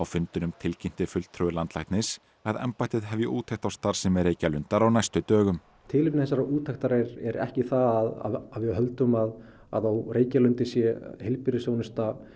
fundinum tilkynnti fulltrúi landlæknis að embættið hefji úttekt á starfsemi Reykjalundar á næstu dögum tilefni þessar úttektar er ekki það að við höldum að að á Reykjalundi sé heilbrigðisþjónusta